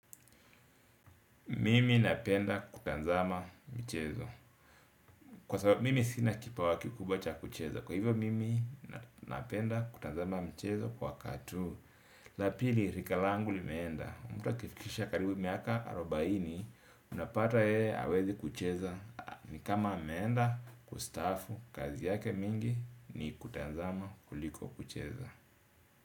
Mimi napenda kutazama michezo. Kwa sababu, mimi sina kipawa kikubwa cha kuchezo. Kwa hivyo, mimi napenda kutazama mchezo kwa katuu. La pili, rika langu limeenda. Mtu akifikisha karibu miaka arubaini unapata yeye, hawezi kucheza. Ni kama ameenda kustaafu. Kazi yake mingi, ni kutanzama kuliko kucheza.